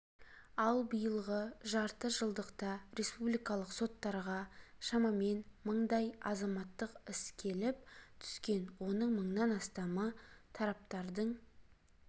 ал биылғы жарты жылдықта республикалық соттарға шамамен мыңдай азаматтық іс келіп түскен оның мыңнан астамы тараптардың